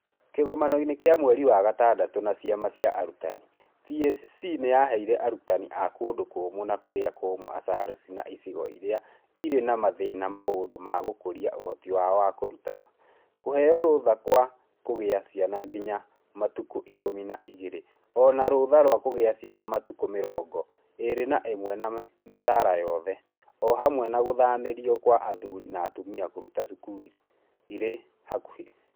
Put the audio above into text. Kĩgomanoinĩ kĩa mweri wa gatandatũ na ciama cia arutani, TSC nĩ yaheire arutani a kũndũ kũũmũ na kũrĩa kũũmũ ASALs na icigo iria irĩ na mathĩna maũndũ ma gũkũria ũhoti wao wa kũrutana, kũheo rũtha rwa kũgĩa ciana nginya matukũ ikũmi na igĩrĩ0 na rũtha rwa kũgĩa ciana matukũ mĩrngo ĩrĩ na ĩmwe na mĩcaara yothe, o hamwe na gũthamĩrio kwa athuri na atumia kũruta cukuru irĩ hakuhĩ.